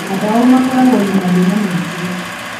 Aingĩ ao makoragwo na mathĩna maingĩ.